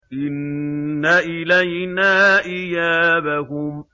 إِنَّ إِلَيْنَا إِيَابَهُمْ